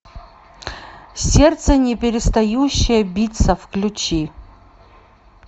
сердце не перестающее биться включи